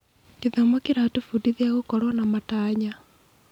Gĩthomo kĩratũbundithia gũkorwo na matanya.